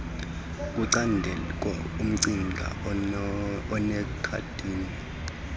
kucandeko umcinga onekhothini